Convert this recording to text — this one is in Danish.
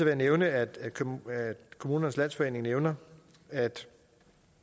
jeg nævne at kommunernes landsforening nævner at